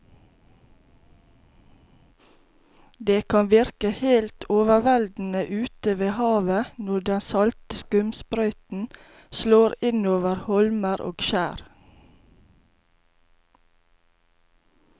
Det kan virke helt overveldende ute ved havet når den salte skumsprøyten slår innover holmer og skjær.